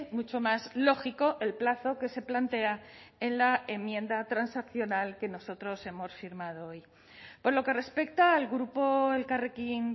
mucho más lógico el plazo que se plantea en la enmienda transaccional que nosotros hemos firmado hoy por lo que respecta al grupo elkarrekin